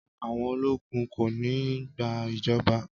Àwọn ológun kò ní gba ìjọba!